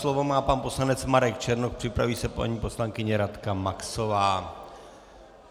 Slovo má pan poslanec Marek Černoch, připraví se paní poslankyně Radka Maxová.